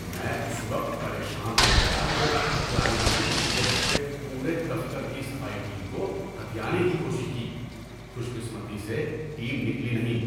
میں اس وقت پریشان ہو گیا جب کلائنٹ نے پچھلے ہفتے پورے دفتر کی صفائی ٹیم کو ہتھیانے کی کوشش کی۔ خوش قسمتی سے ٹیم نکلی نہیں۔